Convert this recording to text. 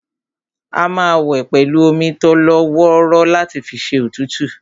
A máa wẹ̀ pẹ̀lú omi tólọ́wọ́rọ́ láti fi ṣẹ́ òtútù